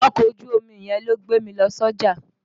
Ọkọ̀ ojú omi yẹn ló gbé mi lọ sọ́jà.